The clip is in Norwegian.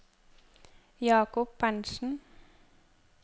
Jacob Berntsen